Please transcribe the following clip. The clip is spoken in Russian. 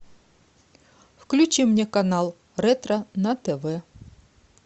включи мне канал ретро на тв